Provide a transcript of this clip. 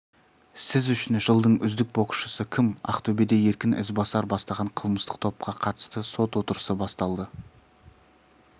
сіз үшін жылдың үздік боксшысы кім ақтөбеде еркін ізбасар бастаған қылмыстық топқа қатысты сот отырысы басталды